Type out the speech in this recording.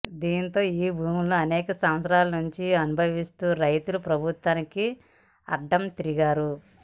దీంతో ఈ భూములను అనేక సంవత్సరాల నుంచి అనుభవిస్తున్న రైతులు ప్రభుత్వానికి అడ్డం తిరిగారు